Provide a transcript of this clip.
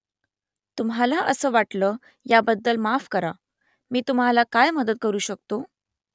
तुम्हाला असं वाटलं याबद्दल माफ करा . मी तुम्हाला काय मदत करू शकतो ?